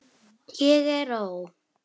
ég er ó.